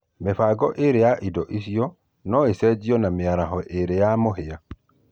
mĩbango ĩĩrĩ ya indo icio na ĩcenjanio na mĩaraho ĩĩrĩ ya mũhĩa